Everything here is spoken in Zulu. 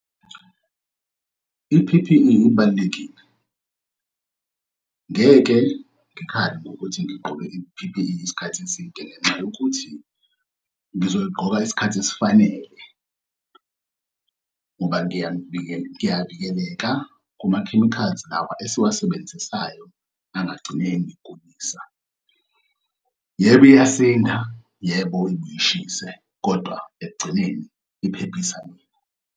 I-P_P_E ibalulekile. Ngeke ngikhale ngokuthi ngigqoke i-P_P_E isikhathi eside ngenxa yokuthi ngizoyigqoka isikhathi esifanele ngoba kuyavikeleka kuma-chemicals lawa esiwasebenzisayo angagcine engigulisa. Yebo, iyasinda. Yebo, ibuye ishise kodwa ekugcineni iphephisa mina.